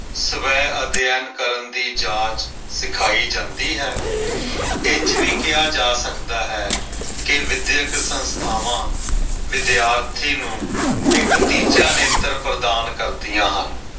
ਸਵੈ ਅਧਿਐਨ ਕਰਨ ਦੀ ਜਾਚ ਸਿਖਾਈ ਜਾਂਦੀ ਹੈ। ਇੰਝ ਵੀ ਕਿਹਾ ਜਾ ਸਕਦਾ ਹੈ ਕੇ ਵਿਦਿਅਕ ਸੰਸਥਾਵਾਂ ਵਿਦਿਆਰਥੀ ਨੂੰ ਇੱਕ ਤੀਜਾ ਨੇਤਰ ਪ੍ਰਦਾਨ ਕਰਦੀਆਂ ਹਨ।